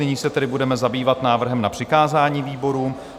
Nyní se tedy budeme zabývat návrhem na přikázání výborům.